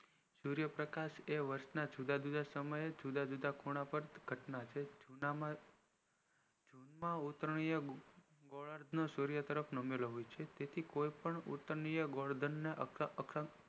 સૂર્ય પ્રકાશ એ વર્ષ ના જુદા જુદા સમયે ખૂણા પર ઘટના છે જેના માં ઉતારણીય ગોલાધ નું સૂર્ય તરફ નામી રહ્યું છે જેથી ઉતારણીય ગોલધ